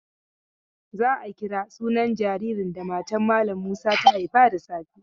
Za a kira sunan jaririn da matan malam Musa ta haifa da safe.